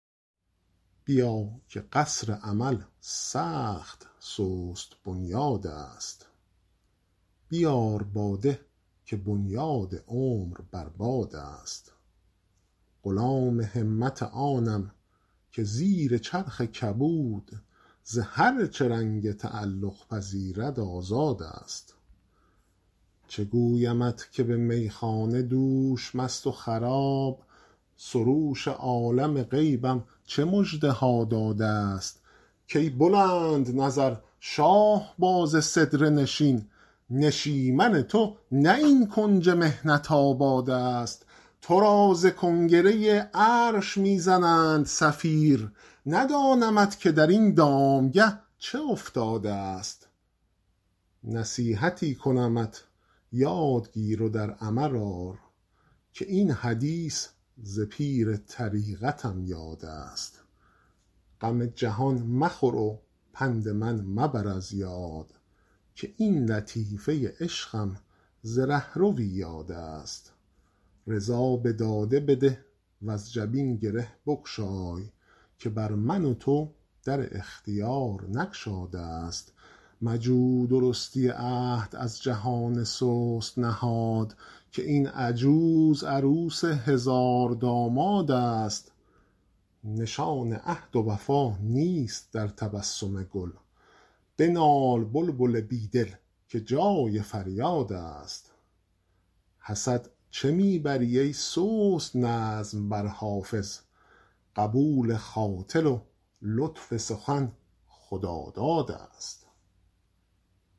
بیا که قصر امل سخت سست بنیادست بیار باده که بنیاد عمر بر بادست غلام همت آنم که زیر چرخ کبود ز هر چه رنگ تعلق پذیرد آزادست چه گویمت که به میخانه دوش مست و خراب سروش عالم غیبم چه مژده ها دادست که ای بلندنظر شاهباز سدره نشین نشیمن تو نه این کنج محنت آبادست تو را ز کنگره عرش می زنند صفیر ندانمت که در این دامگه چه افتادست نصیحتی کنمت یاد گیر و در عمل آر که این حدیث ز پیر طریقتم یادست غم جهان مخور و پند من مبر از یاد که این لطیفه عشقم ز رهروی یادست رضا به داده بده وز جبین گره بگشای که بر من و تو در اختیار نگشادست مجو درستی عهد از جهان سست نهاد که این عجوز عروس هزاردامادست نشان عهد و وفا نیست در تبسم گل بنال بلبل بی دل که جای فریادست حسد چه می بری ای سست نظم بر حافظ قبول خاطر و لطف سخن خدادادست